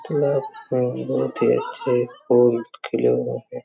तालाब में बहोत ही अच्छे फूल खिले हुए है ।